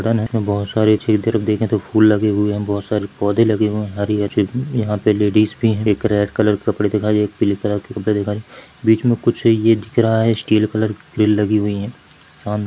-- रन है बहुत सारे ये तरफ देखे तो फूल लगे हुए है बहोत सारे पौधे लगे हुए है हरी हरे यहाँ पे लेडीज भी है एक रेड कलर कपड़े दिखाई दे रही एक पिले कलर के कपड़े दिखाई बीच में कुछ ये दिख रहा है स्टील कलर भी लगी हुई है।